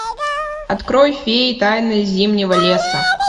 открой феи тайна зимнего леса